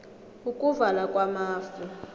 ukuvala kwamafu